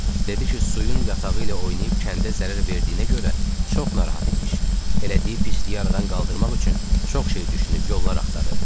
Dedi ki, suyun yatağı ilə oynayıb kəndə zərər verdiyinə görə çox narahat imiş, elədiyi pisliyi aradan qaldırmaq üçün çox şey düşünüb yollar axtarıb.